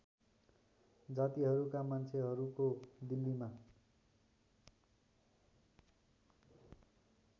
जातिहरूका मान्छेहरूको दिल्लीमा